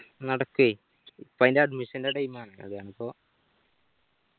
നടക്കുഏ ഇപ്പൊ ആയിന്റ admission ന്റെ time ആണ് അതാണിപ്പോ